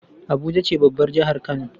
abuja ce babbar jahar kano